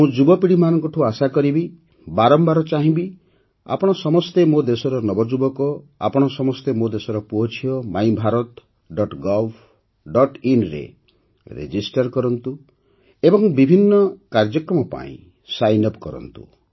ମୁଁ ଯୁବପିଢ଼ିଠାରୁ ଆଶା କରିବି ବାରମ୍ବାର ଚାହିଁବି ଯେ ଆପଣ ସମସ୍ତେ ମୋ ଦେଶର ନବଯୁବକ ଆପଣ ସମସ୍ତେ ମୋ ଦେଶର ପୁଅଝିଅ ମାଇଭାରତGovinରେ ପଞ୍ଜିକରଣ କରନ୍ତୁ ଏବଂ ବିଭିନ୍ନ କାର୍ଯ୍ୟକ୍ରମ ପାଇଁ ସାଇନ୍ ଅପ୍ କରନ୍ତୁ